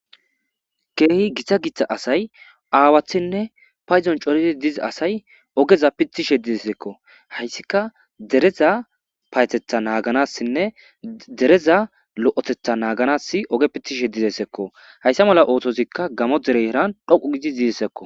Kehi gitta gitta asay awatinne paydon kehi cori dizayssako.hayssika dereza payatetha naganas dereza lo'etetha naganas oge pitishe dizayssako hayssa mala othozi gamo derera dhoqqu gidi dizayssako.